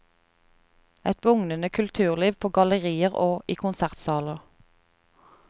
Et bugnende kulturliv på gallerier og i konsertsaler.